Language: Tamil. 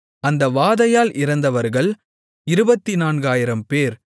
அந்த வாதையால் இறந்தவர்கள் 24000 பேர்